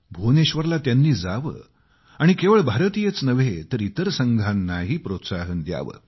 भुवनेश्वरला त्यांनी जावं आणि केवळ भारतीयच नव्हे तर इतर संघांनाही प्रोत्साहन द्यावं